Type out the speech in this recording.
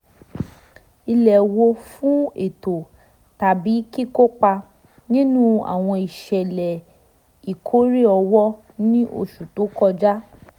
ìléwọ́ fún ètò tàbí kíkópa nínú àwọn ìṣẹ̀lẹ̀ ìkórè owó ní oṣù tó kọjá